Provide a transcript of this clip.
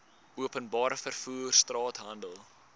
openbare vervoer straathandel